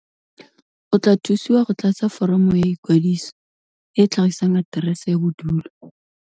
O tla thusiwa go tlatsa foromo ya ikwadiso e e tlhagisang aterese ya bodulo.